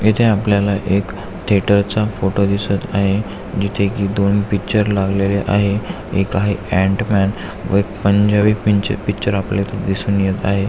येथे आपल्याला एक थिएटर चा फोटो दिसत आहे जिथे की दोन पिक्चर लागलेले आहेत एक आहे अँट मॅन व एक पंजाबी पिंच पिक्चर आपल्याला इथ दिसून येत आहे.